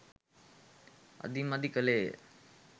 අදි මදි කලේය.